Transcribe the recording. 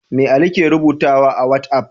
Me Ali ke rubutu a wat'af?